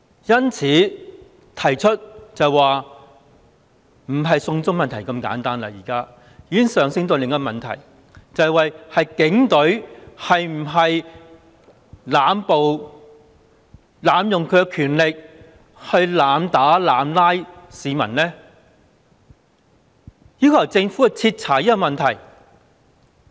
因此，提出的已不單是"送中"問題那麼簡單，而是已經上升到另一個問題，就是警隊是否濫暴濫權，去濫打濫捕市民，應該要由政府去徹查這個問題。